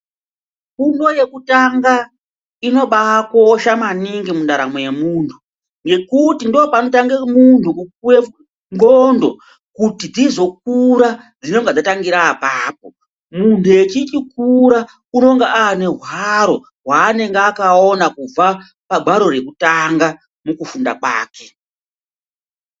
Fundo yekutanga inobakosha maningi mundaramo yemuntu ngektu ndopanotange muntu kupuwe nxondo kuti dzizokura dzinenge dzatangira apapo muntu echichi kura unonga anehwaro hwanenge akaona kubva pahwaro rekutanga pakufunda kwake.